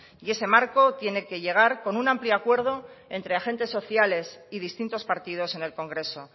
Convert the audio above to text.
y ese marco tiene que llegar con un amplio acuerdo entre agentes sociales y distintos partidos en el congreso